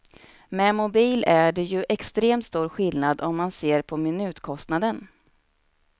Med mobil är det ju extremt stor skillnad om man ser på minutkostnaden.